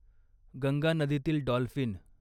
गंगा नदीतील डॉल्फिन